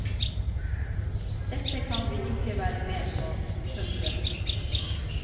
Dette kan vi ikke være med på. punktum